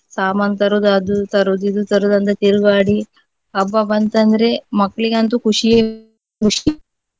ಸಾಮಾನು ತರುವುದು ಅದು ತರುವುದು ಇದು ತರುವುದು ಅಂತ ತಿರುಗಾಡಿ ಹಬ್ಬ ಬಂತಂದ್ರೆ ಮಕ್ಳಿಗಂತೂ ಖುಷಿಯೇ ಖುಷಿ.